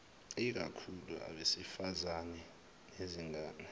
ikakhulu abesifazane nezingane